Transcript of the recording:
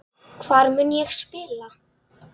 Hvar mun ég spila?